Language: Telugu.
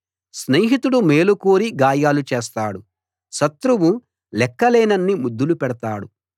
స్నేహితుడు మేలు కోరి గాయాలు చేస్తాడు శత్రువు లెక్క లేనన్ని ముద్దులు పెడతాడు